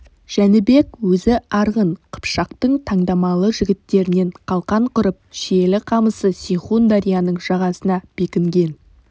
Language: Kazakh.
жәнібек өзі арғын қыпшақтың таңдамалы жігіттерінен қалқан құрып шиелі қамысы сейхун дарияның жағасына бекінген